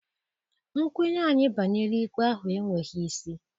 Nkwenye anyị banyere ikpe ahụ enweghị isi.